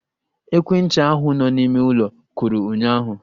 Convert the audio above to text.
Ekwentị ahụ nọ n'ime ụlọ kụrụ ụnyụahụ